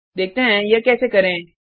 देखते हैं यह कैसे करें